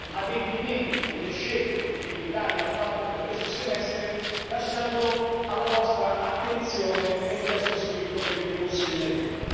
adempimenti e le scelte che l'Italia ha fatto per questo semestre, lasciandolo alla vostra attenzione nel testo scritto che vi consegneremo.